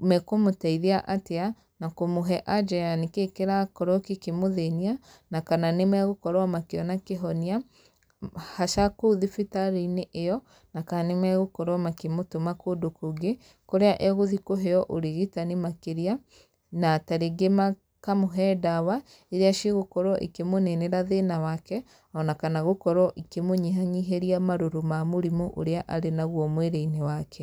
mekũmũteithia atĩa, na kũmũhe anja ya nĩkĩ kĩrakorwo gĩkĩmũthĩnia, na kana nĩ megũkorwo makĩona kĩhonia, haca kũu thibitarĩ-inĩ ĩyo, na kana nĩ megũkorwo makĩmũtũma kũndũ kũngĩ, kũrĩa egũthi kũheo ũrigitani makĩria. Na tarĩngĩ makamũhe ndawa, irĩa cigũkorwo ikĩmũninĩra thĩna wake, ona kana gũkorwo ikĩmũnyihanyihĩria marũrũ ma mũrimũ ũrĩa arĩ naguo mwĩrĩ-inĩ wake.